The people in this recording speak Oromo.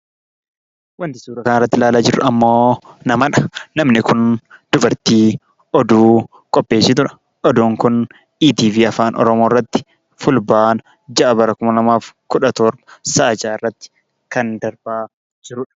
Wanti suuraa kanarratti ilaala jiruu ammo namadha. Namni kun dubartii oduu qopheessitudha. Odun kun, etv afaan oromoorratti, fulbaana ja'a, bara kuma lamaa fi kudha torba, sa'aa ja'aarratti kan darbaa jirudha.